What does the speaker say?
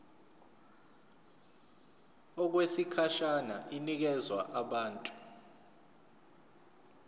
okwesikhashana inikezwa abantu